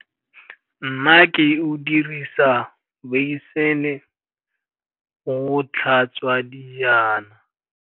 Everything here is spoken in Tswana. Nnake o dirisa beisene go tlhatswa dijana.